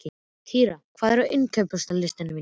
Týra, hvað er á innkaupalistanum mínum?